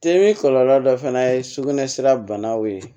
Temi kɔlɔlɔ dɔ fana ye sugunɛ sira banaw ye